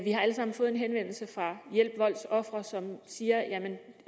har alle sammen fået en henvendelse fra hjælp voldsofre som siger